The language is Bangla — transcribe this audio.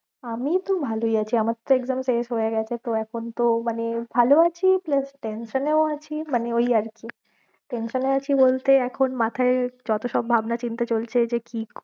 আমি তো ভালোই আছি, আমার তো exam শেষ হয়ে গেছে তো এখন তো মানে ভালো আছি plus tension এও আছি মানে ওই আর কি tension এ আছি বলতে এখন মাথায় যত সব ভাবনা চিন্তা চলছে যে কি